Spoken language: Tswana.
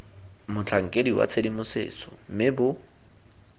motlhankedi wa tshedimosetso mme bo